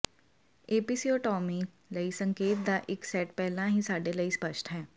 episiotomy ਲਈ ਸੰਕੇਤਾਂ ਦਾ ਇੱਕ ਸੈੱਟ ਪਹਿਲਾਂ ਹੀ ਸਾਡੇ ਲਈ ਸਪਸ਼ਟ ਹੈ